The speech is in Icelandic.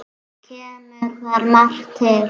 Kemur þar margt til.